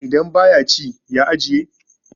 idan ba ya ci ya ajiye?